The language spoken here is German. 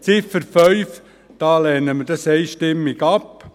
Die Ziffer 5 lehnen wir einstimmig ab.